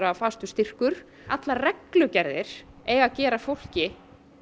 fastur styrkur allar reglugerðir eiga að gera fólki